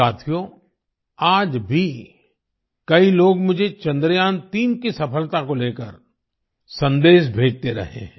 साथियो आज भी कई लोग मुझे चंद्रयान3 की सफलता को लेकर सन्देश भेजते रहे हैं